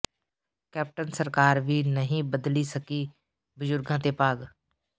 captain ਸਰਕਾਰ ਵੀ ਨਹੀਂ ਬਦਲੀ ਸਕੀ ਬਜ਼ੁਰਗਾਂ ਦੇ ਭਾਗ